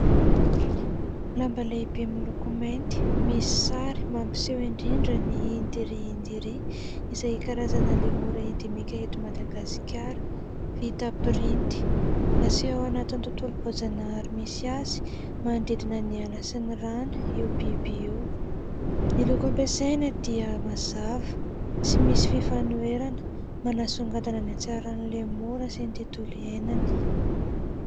Lamba lehibe miloko mainty misy sary mampiseho indrindra ny "Indri Indri" izay karazana lemora endemika eto Madagasikara, vita printy, naseho ao anatin'ny tontolom-boajanahary misy azy manodidina ny ala sy ny rano io biby io, ny loko ampiasaina dia mazava sy misy fifanoherana manasongadina ny hatsaran'ny lemora sy ny tontolo iainany.